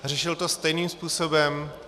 Řešil to stejným způsobem.